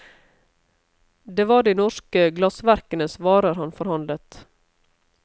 Det var de norske glassverkenes varer han forhandlet.